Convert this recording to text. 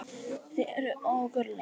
Þeir eru ógurlegir.